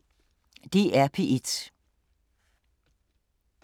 DR P1